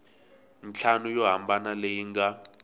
ntlhanu yo hambana leyi nga